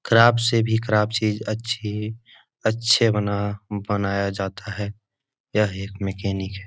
खराब से भी खराब चीज अच्छी अच्छे बना बनाया जाता है यह एक मैकेनिक है ।